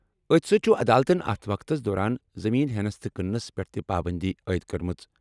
أتھۍ سۭتۍ چُھ عدالتَن اتھ وقتس دوران زٔمیٖن ہیٚنَس تہٕ کٕننَس پٮ۪ٹھ تہِ پابٔنٛدی عٲیِد کٔرمٕژ۔